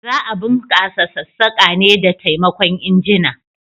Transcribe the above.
Za a bunkasa sassaka ne da taimakon injina.